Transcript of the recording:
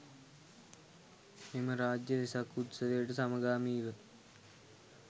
මෙම රාජ්‍ය වෙසක් උත්සවයට සමගාමීව